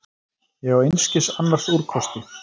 Ég á einskis annars úrkosti.